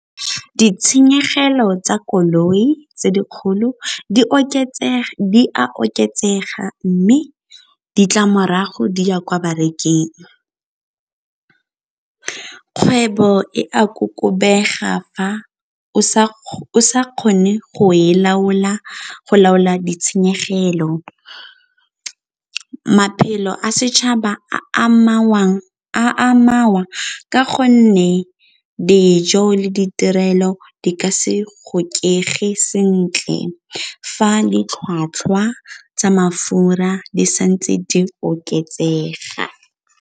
Ditshenyegelo tsa koloi tse dikgolo di a oketsega mme ditlamorago di ya kwa bareking. Kgwebo e a kokobega fa o sa kgone go laola ditshenyegelo maphelo a setšhaba a amangwa ka gonne dijo le ditirelo di ka se go sentle fa ditlhwatlhwa tsa mafura di sa ntse di oketsega.